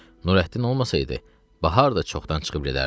Nurəddin olmasaydı, bahar da çoxdan çıxıb gedərdi.